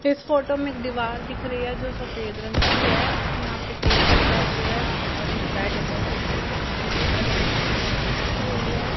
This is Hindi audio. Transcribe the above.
इस फोटो में एक दीवार दिख रही है जो सफेद रंग की है यहाँ पे टेबल है चेयरस है और एक बेड है जिसपे ब्लु कलर की चद्दर बिछी हुई है।